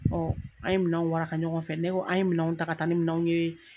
an ye minɛnw waraka ɲɔgɔn fɛ ne ko an ye minɛnw ta ka taa ni minɛnw ye.